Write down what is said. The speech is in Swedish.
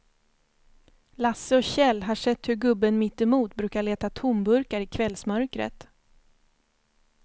Lasse och Kjell har sett hur gubben mittemot brukar leta tomburkar i kvällsmörkret.